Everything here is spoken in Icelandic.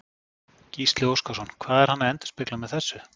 Gísli Óskarsson: Hvað er hann að endurspegla með þessu?